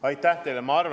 Aitäh teile!